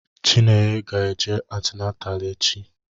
Chinenye ga eje antinatal echi